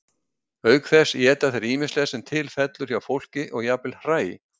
Auk þess éta þeir ýmislegt sem til fellur hjá fólki og jafnvel hræ.